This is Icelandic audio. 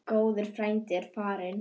Góður frændi er farinn.